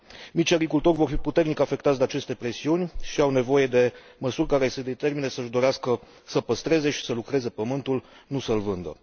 Micii agricultori vor fi puternic afectați de aceste presiuni și au nevoie de măsuri care să i determine să și dorească să păstreze și să lucreze pământul, nu să l vândă.